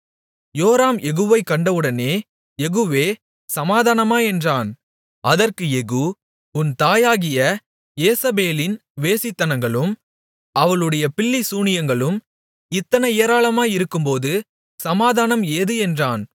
யோராம் யெகூவைக் கண்டவுடனே யெகூவே சமாதானமா என்றான் அதற்கு யெகூ உன் தாயாகிய யேசபேலின் வேசித்தனங்களும் அவளுடைய பில்லி சூனியங்களும் இத்தனை ஏராளமாயிருக்கும்போது சமாதானம் ஏது என்றான்